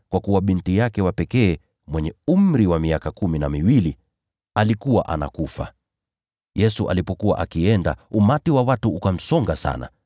kwa kuwa binti yake wa pekee, mwenye umri wa miaka kumi na miwili, alikuwa anakufa. Yesu alipokuwa akienda, umati wa watu ukamsonga sana.